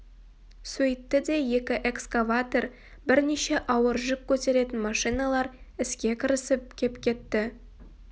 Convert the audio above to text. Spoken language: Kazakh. сөйтті де екі экскаватор бірнеше ауыр жүк көтеретін машиналар іске кірісіп кеп кетті